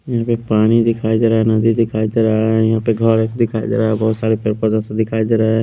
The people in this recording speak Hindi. यहाँ पे पानी दिखाई दे रहा है नदी दिखाई दे रहा है यहाँ पे घर दिखाई दे रहा है बहुत सारे पर दिखाई दे रहा है।